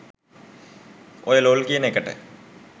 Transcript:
ඔය ලොල් කියන එකට